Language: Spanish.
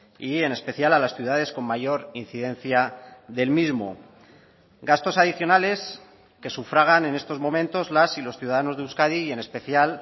y en especial a las ciudades con mayor incidencia del mismo gastos adicionales que sufragan en estos momentos las y los ciudadanos de euskadi y en especial